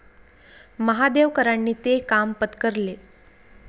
महादेवकरांनी ते काम पत्करले.